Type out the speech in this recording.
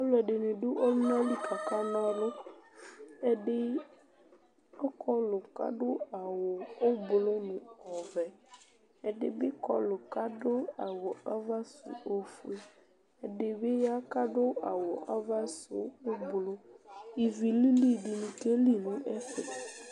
Alʋɛdɩnɩ dʋ ɔlʋna li kʋ akana ɔlʋ Ɛdɩ ɔkɔlʋ kʋ adʋ awʋ ʋblʋ nʋ ɔvɛ, ɛdɩ bɩ kɔlʋ kʋ adʋ awʋ ava sʋ ofue, ɛdɩ bɩ ya kʋ adʋ awʋ ava sʋ ʋblʋ Ivi lili dɩnɩ keli nʋ ɛfɛ